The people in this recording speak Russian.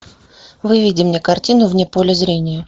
выведи мне картину вне поля зрения